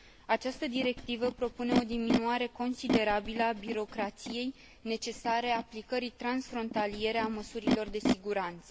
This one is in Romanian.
Această Directivă propune o diminuare considerabilă a birocrației necesare aplicării transfrontaliere a măsurilor de siguranță.